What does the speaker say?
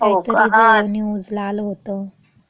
असं काहीतर गं न्यूजला आलं होतं. हो का. हं.